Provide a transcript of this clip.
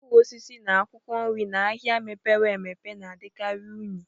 Mkpụrụ osisi na akwụkwọ nri n'ahịa mepere emepe na-adịkarị unyi